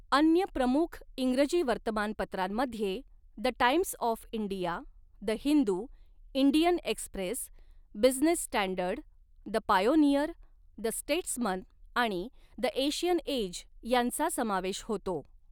अन्य प्रमुख इंग्रजी वर्तमानपत्रांमध्ये the Times of India, the Hindu, Indian Express, Business Standard, the Pioneer, the Statesman आणि द एशियन एज यांचा समावेश होतो.